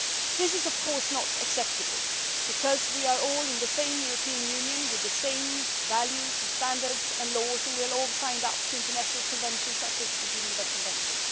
This is of course not acceptable, because we are all in the same European Union with the same values and standards and laws, and we have all signed up to international conventions such as the Geneva Convention.